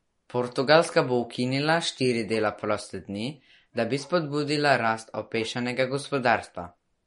Portugalska bo ukinila štiri dela proste dni, da bi spodbudila rast opešanega gospodarstva.